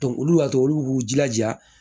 olu y'a to olu k'u jilaja